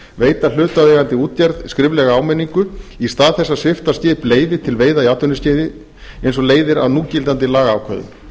veita hlutaðeigandi útgerð skriflega áminningu í stað þess að svipta skip leyfi til veiða í atvinnuskyni eins og leiðir af núgildandi lagaákvæðum